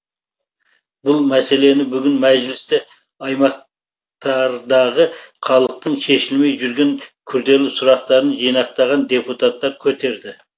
бұл мәселені бүгін мәжілісте аймақтардағы халықтың шешілмей жүрген күрделі сұрақтарын жинақтаған депутаттар көтерді